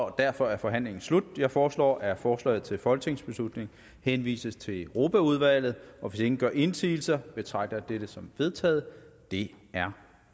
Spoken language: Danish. og derfor er forhandlingen slut jeg foreslår at forslaget til folketingsbeslutning henvises til europaudvalget hvis ingen gør indsigelse betragter jeg dette som vedtaget det er